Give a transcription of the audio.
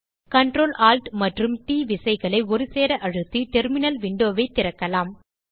Ctrl Alt மற்றும் T விசைகளை ஒருசேர அழுத்தி டெர்மினல் விண்டோ ஐ திறக்கலாம்